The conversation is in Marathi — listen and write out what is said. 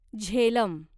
झेलम